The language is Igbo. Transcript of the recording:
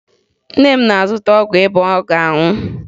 Nne m na-azụta ọgwụ ịba ọ ga-aṅụ